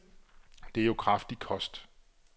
Det er jo kraftig kost.